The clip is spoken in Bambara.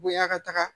Bonya ka taga